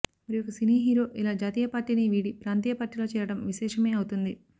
మరి ఒక cine hero ఇలా జాతీయ పార్టీని వీడి ప్రాంతీయ పార్టీలో చేరడం విశేషమే అవుతుంది